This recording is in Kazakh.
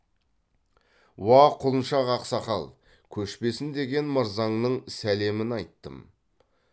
уа құлыншақ ақсақал көшпесін деген мырзаңның сәлемін айттым